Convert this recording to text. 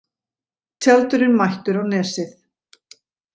Tjaldurinn mættur á Nesið